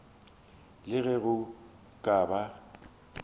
le ge go ka ba